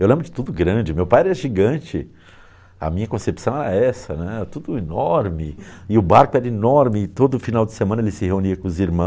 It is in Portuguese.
Eu lembro de tudo grande, meu pai era gigante, a minha concepção era essa né, tudo enorme, e o barco era enorme, e todo final de semana ele se reunia com os